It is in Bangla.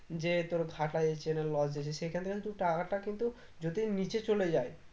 যে তোর ভাটা যেছে না loss যেছে সেখান থেকে কিন্তু টাকাটা কিন্তু যদি নিচে চলে যায়